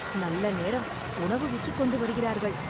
நல்ல நேரம்! உணவு விற்றுக்கொண்டு வருகிறார்கள்